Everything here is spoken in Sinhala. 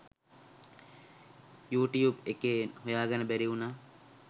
යූටියුබ් එකේ හොයාගන්න බැරි වුනා.